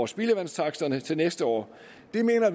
spildevandstaksterne til næste år